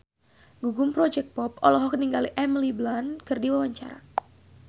Gugum Project Pop olohok ningali Emily Blunt keur diwawancara